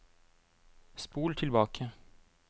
spol tilbake